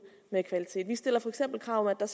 med kvalitet vi stiller for eksempel krav om at der